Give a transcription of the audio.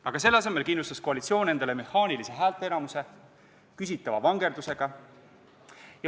Aga selle asemel kindlustas koalitsioon endale küsitava vangerdusega mehaanilise häälteenamuse.